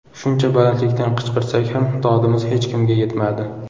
Shuncha balandlikdan qichqirsak ham dodimiz hech kimga yetmadi.